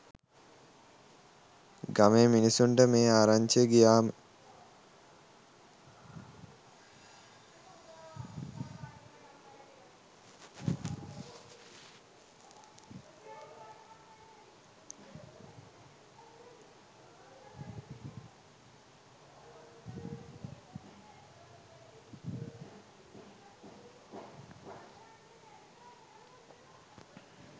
ගමේ මිනිසුන්ට මේ ආරංචිය ගියාම